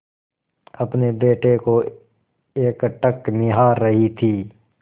अपने बेटे को एकटक निहार रही थी